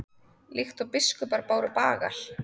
Líkt og biskupar báru bagal?